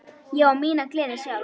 Ég á mína gleði sjálf.